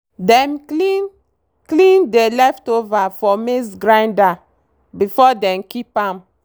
dem clean clean dey leftover for maize grinder before dem keep am.